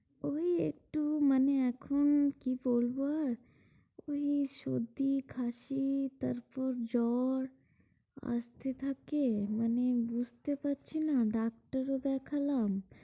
ওই একটু মানে এখন কি বলবো আর, ওই সর্দি কাশি তারপর জ্বর আসতে থাকে, মানে বুঝতে পারছি না ডাক্তারও দেখালাম।